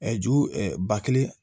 ju ɛ ba kelen